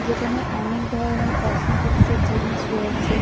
যেখেনে অনেক ধরণের কসমেটিকসের জিনিস রয়েছে ।